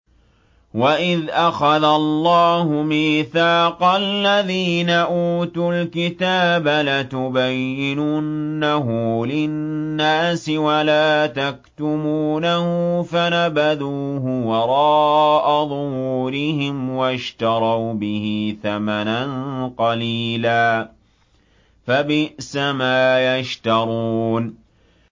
وَإِذْ أَخَذَ اللَّهُ مِيثَاقَ الَّذِينَ أُوتُوا الْكِتَابَ لَتُبَيِّنُنَّهُ لِلنَّاسِ وَلَا تَكْتُمُونَهُ فَنَبَذُوهُ وَرَاءَ ظُهُورِهِمْ وَاشْتَرَوْا بِهِ ثَمَنًا قَلِيلًا ۖ فَبِئْسَ مَا يَشْتَرُونَ